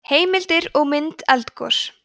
heimildir og mynd eldgos